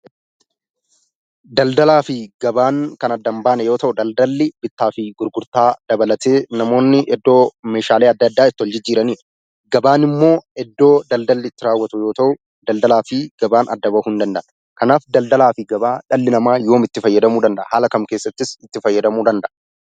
Daldalaa fi gabaan kan adda hin baane yoo ta'u, daldalli bittaa fi gurgurtaa dabalatee namoonni iddoo meeshaalee adda addaa itti wal jijjiiranii dha. Gabaan immoo iddoo daldalli itti raawwatu yoo ta'u, daldalaa fi gabaan adda ba'uu hin danda'an. Kanaaf, daldalaa fi gabaa dhalli namaa yoom itti fayyadamuu danda'a? Haala kam keessattis itti fayyadamuu danda'a?